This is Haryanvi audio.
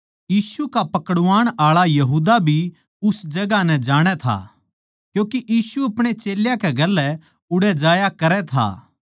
यीशु का पकड़ाण आळा यहूदा भी उस जगहां नै जाणै था क्यूँके यीशु अपणे चेल्यां गेल्या उड़ै जाया करै था